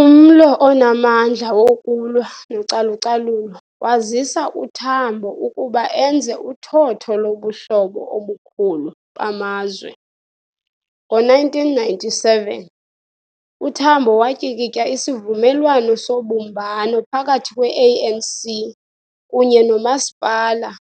Umlo onamandla wokulwa nocalucalulo wazisa uTambo ukuba enze uthotho lobuhlobo obukhulu bamazwe. Ngo-1997, uTambo watyikitya isivumelwano sobumbano phakathi kwe-ANC kunye nomasipala-